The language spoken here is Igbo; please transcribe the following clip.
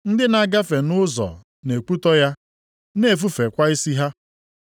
Ndị na-agafe nʼụzọ na-ekwutọ ya, na-efufekwa isi ha,